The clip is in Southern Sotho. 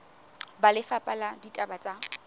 ba lefapha la ditaba tsa